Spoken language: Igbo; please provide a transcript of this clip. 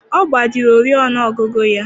Ọ gbajiri oriọna ọgụgụ ya.